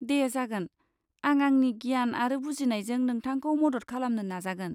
दे, जागोन। आं आंनि गियान आरो बुजिनायजों नोंथांखौ मदद खालामनो नाजागोन।